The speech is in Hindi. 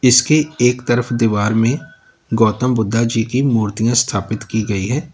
इसकी एक तरफ दीवार में गौतम बुद्धा जी की मूर्तियां स्थापित की गई है।